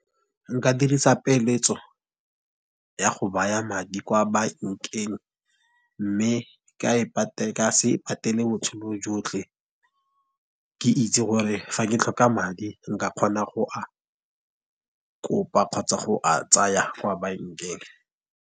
Nka dirisa peeletso ya go baya madi kwa bankeng mme ka se e patele botshelo jotlhe ke itse gore fa ke tlhoka madi nka kgona go a kopa kgotsa go a tsaya kwa bankeng.